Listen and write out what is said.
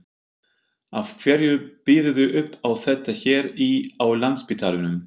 Af hverju býðurðu upp á þetta hér í, á Landspítalanum?